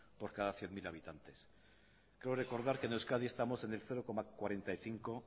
por cada cien mil habitantes creo recordar que en euskadi estamos en el cero coma cuarenta y cinco